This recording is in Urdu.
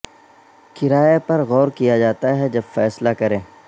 کرایہ پر غور کیا جاتا ہے جب فیصلہ کریں